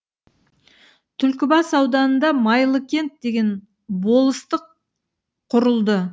түлкібас ауданында майлыкент деген болыстық құрылды